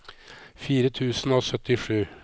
fire tusen og syttisju